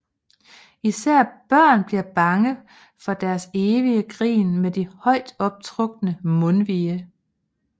Især børn bliver bange for deres evige grin med de højt optrukne mundvige